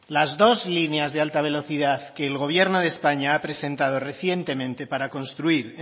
las dos líneas de alta velocidad que el gobierno de españa ha presentado recientemente para construir